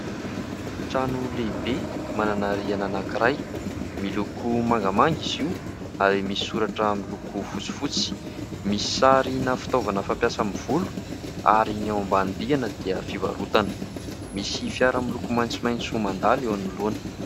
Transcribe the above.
Trano lehibe, manana rihana anankiray. Miloko mangamanga izy io ary misy soratra miloko fotsifotsy. Misy sarina fitaovana fampiasa amin'ny volo ary ny ao ambany rihana dia fivarotana. Misy fiara miloko maitsomaitso mandalo eo anoloana.